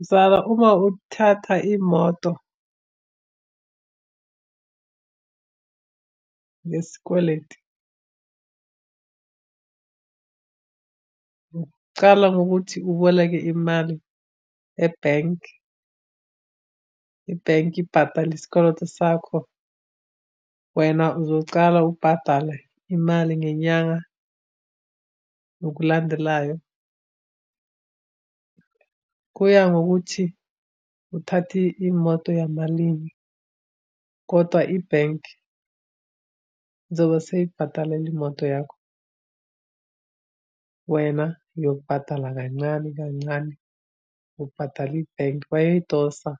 Mzala, uma uthatha imoto ngesikweletu, ucala ngokuthi uboleke imali ebhenki, ibhenki ibhatale isikoloto sakho. Wena uzocala ubhadale imali ngenyanga ngokulandelayo. Kuya ngokuthi uthathe imoto yamalini, kodwa ibhenki izobe seyibhadalele imoto yakho. Wena uyobhadala kancane kancane ubhadala ibhenki bayayidosa